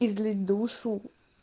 излить душу